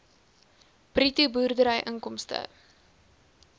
bruto boerdery inkomste